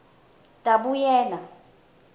tabuyela